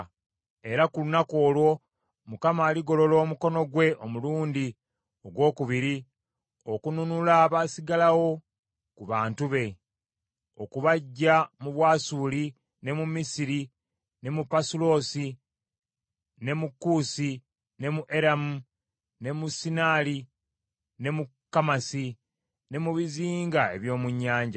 Era ku lunaku olwo Mukama aligolola omukono gwe omulundi ogwokubiri okununula abasigalawo ku bantu be, okubaggya mu Bwasuli ne mu Misiri ne mu Pasuloosi ne mu Kuusi ne mu Eramu ne mu Sinaali ne mu Kamasi ne mu bizinga eby’omu nnyanja.